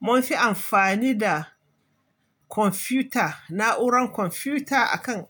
Mun fi amfani da kwamfuta, na'uran kwamfuta akan